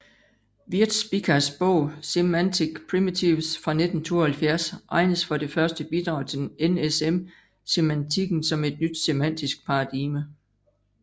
Wierzbickas bog Semantic Primitives fra 1972 regnes for det første bidrag til NSM semantikken som et nyt semantisk paradigme